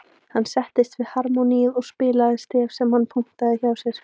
Hann settist við harmóníið og spilaði stef sem hann punktaði hjá sér.